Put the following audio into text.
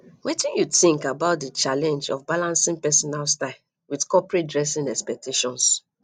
wetin you think about di challenge of balancing personal style with corporate dressing expectations